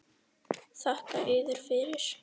Þakka yður fyrir.